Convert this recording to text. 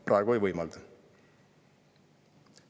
Praegu ei võimalda.